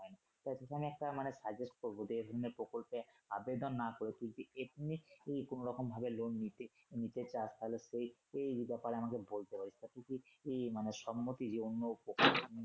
তাই সেখানে একটা মানে suggest করব যে এধরনের প্রকল্পে আবেদন না করে তুই যদি তুই কোনরকম ভাবে loan নিতি নিতে তাহলে তো ওই ব্যাপারে আমাকে বলতে হবে তাতে কি এই মানে সম্মতি